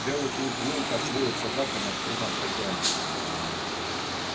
белый клык выл как воют собаки над трупом хозяина